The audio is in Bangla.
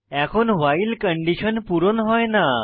এখন ভাইল কন্ডিশন পূর্ণ হয় না